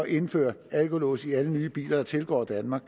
indføre en alkolås i alle nye biler der tilgår danmark